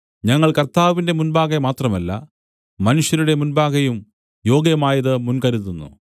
ഞങ്ങൾ കർത്താവിന്റെ മുമ്പാകെ മാത്രമല്ല മനുഷ്യരുടെ മുമ്പാകെയും യോഗ്യമായത് മുൻകരുതുന്നു